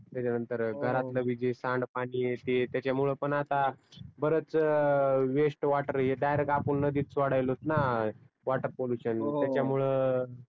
घरातल ब्ी जे सांड पानी आहे ते तीच्यामुळ पण आता बरच वेस्ट वॉटर आपण नदीत सोडायलोत नाा वॉटर पॉल्युशन